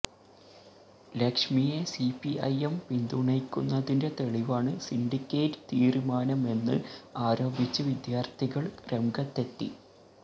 ലക്ഷ്മിയെ സിപിഐഎം പിന്തുണയ്ക്കുന്നതിന്റെ തെളിവാണ് സിന്ഡിക്കേറ്റ് തീരുമാനമെന്ന് ആരോപിച്ച് വിദ്യാര്ത്ഥികള് രംഗത്തെത്തി